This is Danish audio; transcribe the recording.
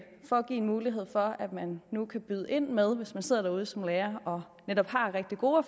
give en mulighed for at man nu kan byde ind med hvis man sidder derude som lærer og netop har rigtig gode